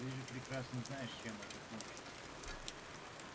ты же прекрасно знаешь чем это кончится